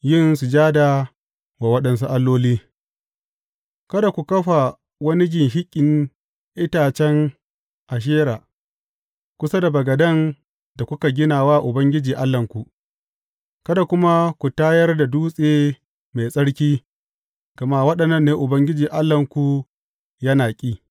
Yin sujada wa waɗansu alloli Kada ku kafa wani ginshiƙin itacen Ashera kusa da bagaden da kuka gina wa Ubangiji Allahnku, kada kuma ku tayar da dutse mai tsarki, gama waɗannan ne Ubangiji Allahnku yana ƙi.